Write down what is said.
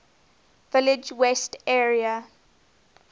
village west area